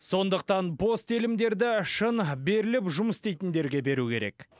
сондықтан бос телімдерді шын беріліп жұмыс істейтіндерге беру керек